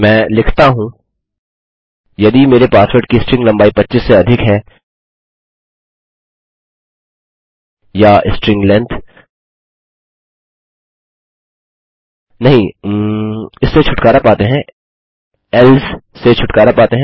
मैं लिखता हूँ यदि मेरे पासवर्ड की स्ट्रिंग लम्बाई 25 से अधिक है या स्ट्रिंग लेंथ नहींउम इससे छुटकारा पाते हैं एल्से से छुटकारा पाते हैं